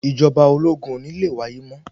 Ìjọba ológun ò ní le wáyé mọ́.